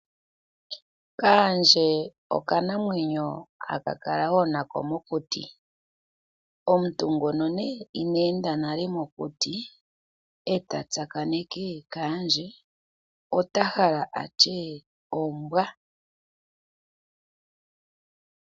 Okaandje oka namwenyo ha kala wo nako mokuti. Omuntu ngoka Ina enda nale mokuti eta tsakaneke okaandje ota hala atye ombwa.